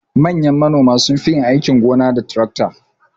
Manyan manoma sunfi yin aikin gona da tarakta.